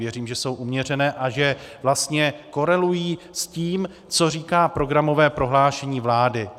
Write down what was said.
Věřím, že jsou uměřené a že vlastně korelují s tím, co říká programové prohlášení vlády.